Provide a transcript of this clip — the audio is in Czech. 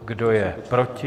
Kdo je proti?